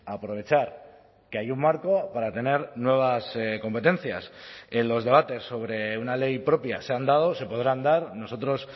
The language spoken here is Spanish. aprovechar que hay un marco para tener nuevas competencias en los debates sobre una ley propia se han dado se podrán dar nosotros